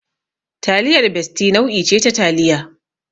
Taliyar Bestie nau'i ce ta taliya.